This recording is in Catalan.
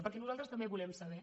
perquè nosaltres també volem saber